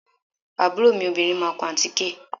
Àbúrò mi obìnrin máa kun àtíkè